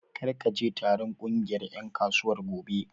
Kar ka je taron ƙungiyar ƴan kasuwar gobe!